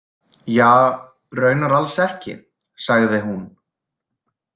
Ja, raunar alls ekki, sagði hún.